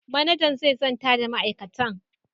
Manajan zai zanta da ma'aikatan.